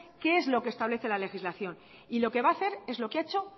qué es lo que establece la legislación y lo que va a hacer es lo que ha hecho